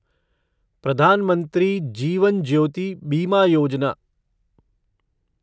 Pradhan Mantri Jeevan Jyoti Bima Yojana